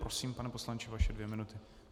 Prosím, pane poslanče, vaše dvě minuty.